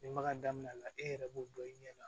Ni maga daminɛn la e yɛrɛ b'o dɔn i ɲɛ na